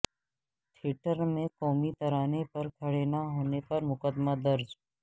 theatre میں قومی ترانہ پر کھڑے نہ ہونے پر مقدمہ درج